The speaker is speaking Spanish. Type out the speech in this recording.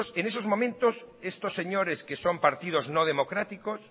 en esos momentos estos señores que son partidos no democráticos